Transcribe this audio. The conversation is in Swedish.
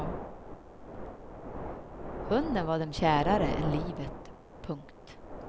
Hunden var dem kärare än livet. punkt